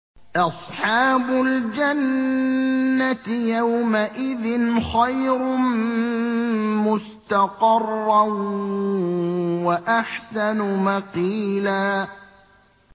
أَصْحَابُ الْجَنَّةِ يَوْمَئِذٍ خَيْرٌ مُّسْتَقَرًّا وَأَحْسَنُ مَقِيلًا